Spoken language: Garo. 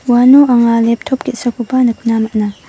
uano anga leptop ge·sakoba nikna man·a.